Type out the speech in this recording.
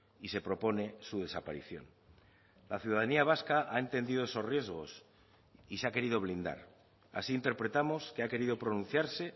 y se propone su desaparición la ciudadanía vasca ha entendido esos riesgos y se ha querido blindar así interpretamos que ha querido pronunciarse